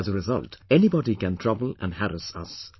As a result, anybody can trouble and harass us